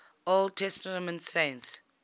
old testament saints